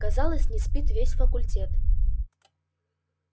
казалось не спит весь факультет